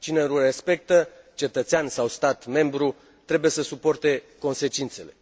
Cine nu respectă, cetățean sau stat membru, trebuie să suporte consecințele.